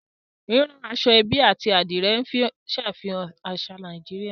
Rírán aṣọ-ẹ́bí àti Adìrẹ̀ ń ṣàfihàn àṣà Nàìjíríà